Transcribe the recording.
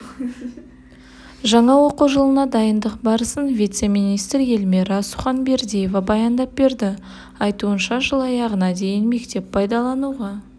жаңа оқу жылына дайындық барысын вице-министр эльмира суханбердиева баяндап берді айтуынша жыл аяғына дейін мектеп пайдалануға